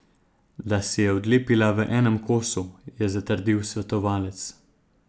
Da se je odlepila v enem kosu, je zatrdil svetovalec.